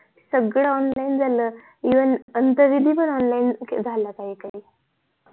सगळं online झालं even अंत विधी पण even झाल्या काही काही